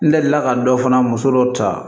N delila ka dɔ fana muso dɔ ta